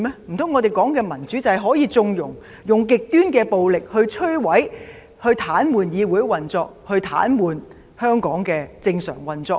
難道我們說的民主，便是可以縱容使用極端暴力來摧毀、癱瘓議會運作及癱瘓香港的正常運作嗎？